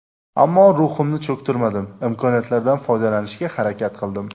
Ammo ruhimni cho‘ktirmadim, imkoniyatlardan foydalanishga harakat qildim.